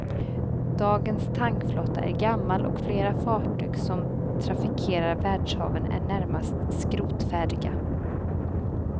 Dagens tankflotta är gammal och flera fartyg som trafikerar världshaven är närmast skrotfärdiga.